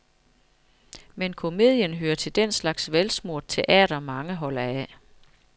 Men komedien hører til den slags velsmurt teater, mange holder af.